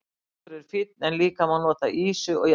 Þorskur er fínn en líka má nota ýsu og jafnvel lúðu.